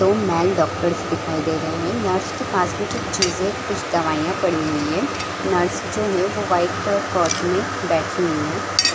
दो men's doctors दिखाई दे रहे है नर्स के पास भी कुछ दवाइयाँ पड़ी हुई है नर्स जो है वो वाइट कलर कोर्ट में बैठी हुई है।